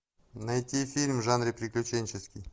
найти фильм в жанре приключенческий